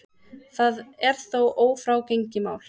Það er þó ófrágengið mál.